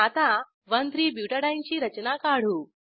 आता 13 बुटाडीने ची रचना काढू